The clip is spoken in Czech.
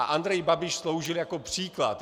A Andrej Babiš sloužil jako příklad.